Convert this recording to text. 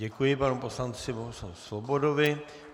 Děkuji panu poslanci Bohuslavu Svobodovi.